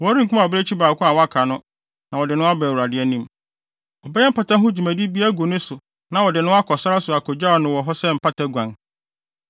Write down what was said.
Wɔrenkum abirekyi baako a waka no na wɔde no aba Awurade anim. Wɔbɛyɛ mpata ho dwumadi bi agu ne so na wɔde no akɔ sare so akogyaw no wɔ hɔ sɛ mpata guan.